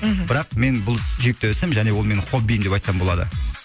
мхм бірақ мен бұл ол менің хоббиім деп айтсам болады